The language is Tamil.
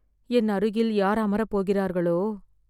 என் அருகில் யார் அமர போகிரார்களோ!